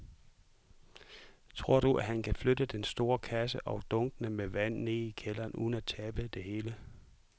Tror du, at han kan flytte den store kasse og dunkene med vand ned i kælderen uden at tabe det hele?